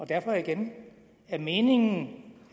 derfor igen er det meningen